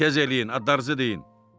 Tez eləyin, adınızı deyin.